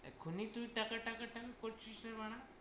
এক্ষণি তুই টাকা টাকা টাকা করছিস রে বাড়া!